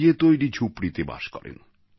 দিয়ে তৈরি ঝুপড়িতে বসবাস করেন